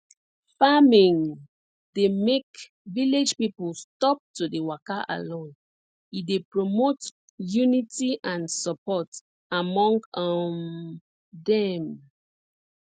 farming dey make village people stop to dey waka alone e dey promote unity and support among um dem